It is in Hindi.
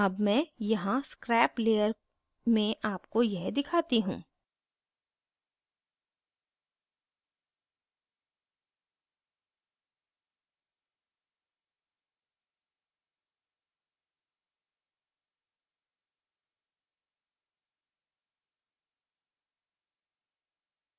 अब मैं यहाँ scrap layer में आपको यह दिखाती हूँ